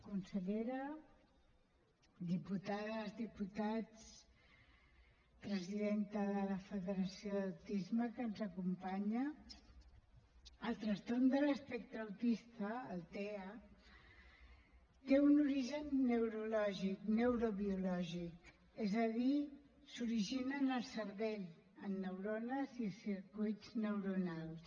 consellera diputades diputats presidenta de la federació d’autisme que ens acompanya el trastorn de l’espectre autista el tea té un origen neurològic neurobiològic és a dir s’origina en el cervell en neurones i circuits neuronals